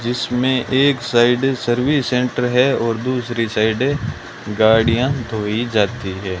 जिसमे एक side service centre है और दूसरी साइडे गाड़ियां धोई जाती हैं।